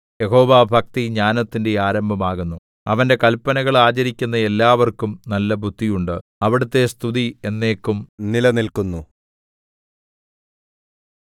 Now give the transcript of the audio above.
യഹോവാഭക്തി ജ്ഞാനത്തിന്റെ ആരംഭമാകുന്നു അവന്റെ കല്പനകൾ ആചരിക്കുന്ന എല്ലാവർക്കും നല്ല ബുദ്ധി ഉണ്ട് അവിടുത്തെ സ്തുതി എന്നേക്കും നിലനില്ക്കുന്നു